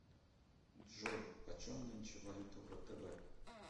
джой почем нынче валюта в втб